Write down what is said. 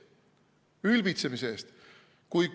Ülbitsemise eest.